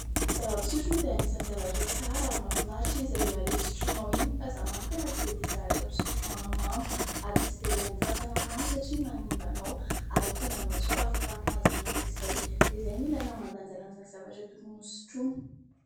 Ny zava-pisotro moa dia anisany zavatra tsara ary mahafinaritra izy rehefa ilay sotroinao iny fa izaho manokana tsy dia tia zavatra mpisotro mahamamo ary tsy dia ilain'ny fahasalamana satria manimba anao ary ahatonga anao tsy ho afaka amin'anazy mandrakizay dia izay ny ilaina mandanjalanja ny zavatra tokony hosotroina.